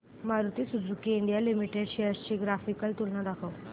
Maruti Suzuki India limited shares ची graphical तुलना दाखव